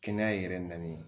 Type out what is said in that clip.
Kɛnɛya yɛrɛ nali